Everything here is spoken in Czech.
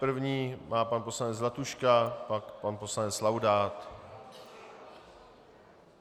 První má pan poslanec Zlatuška, pak pan poslanec Laudát.